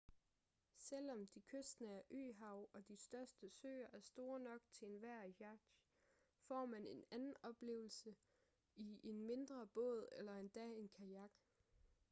selvom de kystnære øhav og de største søer er store nok til enhver yacht får man en anden oplevelse i en mindre båd eller endda en kajak